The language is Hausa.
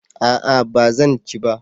A'a ba zan ci ba